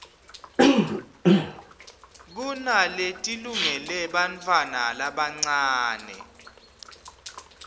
kunaletilungele bantfwana labancane